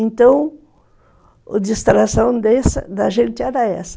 Então, a distração da gente era essa.